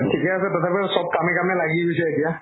ঠিকে আছে, তথাপিও চব কামে কামে লাগি গৈছে এতিয়া।